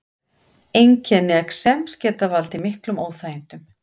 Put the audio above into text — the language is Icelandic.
Einkenni exems geta valdið miklum óþægindum.